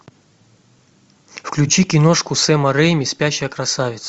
включи киношку сэма рэйми спящая красавица